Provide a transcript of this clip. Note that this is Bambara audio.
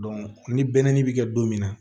ni bɛnni bi kɛ don min na